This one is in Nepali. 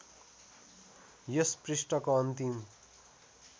यस पृष्ठको अन्तिम